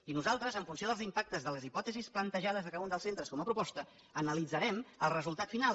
i nosaltres en funció dels impactes de les hipòtesis plantejades a cada un dels centres com a proposta analitzarem el resultat final